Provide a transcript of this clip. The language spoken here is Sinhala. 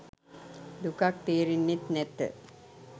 දුකක් තේරෙන්නෙත් නැත